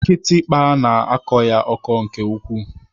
Kịtịkpa na-akọ ya ọkọ nke ukwuu.